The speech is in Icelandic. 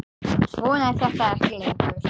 Svona er þetta ekki lengur.